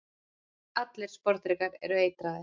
allir sporðdrekar eru eitraðir